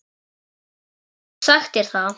Ég hef oft sagt þér það.